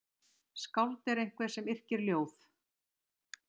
Skáld er einhver sem yrkir ljóð.